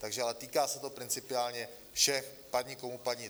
Takže ale týká se to principiálně všech, padni komu padni.